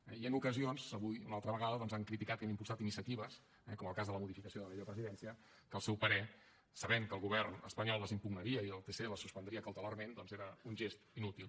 i en ocasions avui una altra vegada doncs han criticat i han impulsat iniciatives eh com el cas de la modificació de la llei de presidència que al seu parer sabent que el govern espanyol les impugnaria i el tc les suspendria cautelarment doncs era un gest inútil